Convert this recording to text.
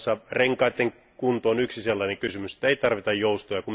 Muun muassa renkaiden kunto on yksi sellainen kysymys, jossa ei tarvita joustoja.